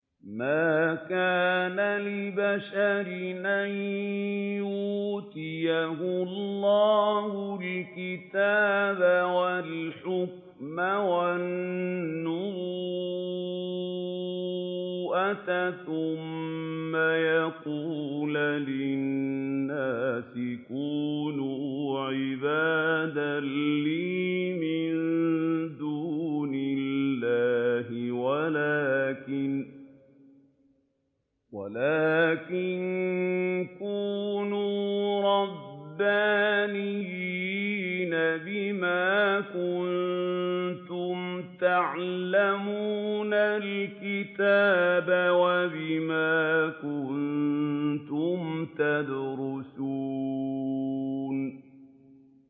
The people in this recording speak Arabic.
مَا كَانَ لِبَشَرٍ أَن يُؤْتِيَهُ اللَّهُ الْكِتَابَ وَالْحُكْمَ وَالنُّبُوَّةَ ثُمَّ يَقُولَ لِلنَّاسِ كُونُوا عِبَادًا لِّي مِن دُونِ اللَّهِ وَلَٰكِن كُونُوا رَبَّانِيِّينَ بِمَا كُنتُمْ تُعَلِّمُونَ الْكِتَابَ وَبِمَا كُنتُمْ تَدْرُسُونَ